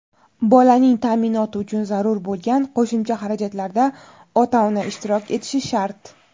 bolaning taʼminoti uchun zarur bo‘lgan qo‘shimcha xarajatlarda ota-ona ishtirok etishi shart.